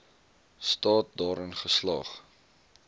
staat daarin geslaag